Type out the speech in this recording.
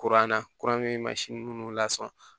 Kuranna kuranɛ masin minnu lasɔrɔ